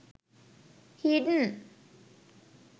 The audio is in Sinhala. hidden